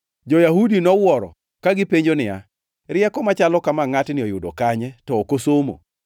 Jo-Yahudi nowuoro ka gipenjo niya, “Rieko machalo kama ngʼatni oyudo kanye to ok osomo?”